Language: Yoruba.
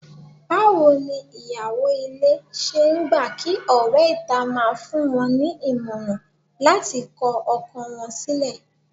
Báwo ni ìyàwó ilé ṣe ń gbà kí ọ̀rẹ́ ìta máa fún wọn ní ìmọ̀ràn láti kọ ọkọ wọn sílẹ̀?